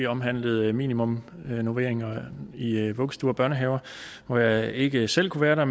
omhandlede minimumsnormeringer i i vuggestuer og børnehaver hvor jeg ikke selv kunne være der